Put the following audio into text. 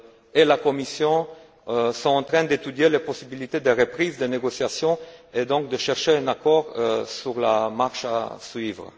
et la Commission sont en train d'étudier les possibilités de reprise des négociations et, donc, de chercher un accord sur la marche à suivre.